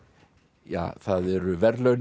ja það eru verðlaun